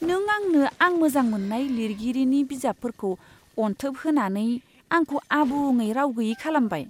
नों आंनो आं मोजां मोन्नाय लिरगिरिनि बिजाबफोरखौ अनथोब होनानै आंखौ आबुङै राव गैयै खालामबाय।